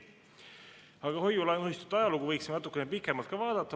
Aga hoiu-laenuühistute ajalugu võiksime natukene pikemalt vaadata.